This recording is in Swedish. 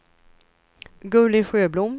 Gulli Sjöblom